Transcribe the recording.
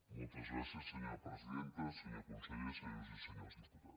moltes gràcies senyora presidenta senyor conseller senyores i senyors diputats